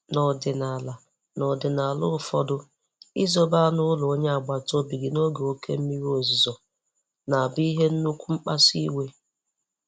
N'ọdịnala N'ọdịnala ụfọdụ, izobe anụ ụlọ onye agbata obi n'oge oke mmiri ozuzo na abu ihe nnukwu nkpasu iwe.